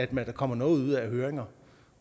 der kommer noget ud af høringer